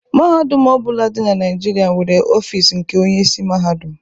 Mahadum ọ bụla dị na Naịjirịa nwere ọfịs nke Onyeisi Mahadum.